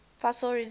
fossil resins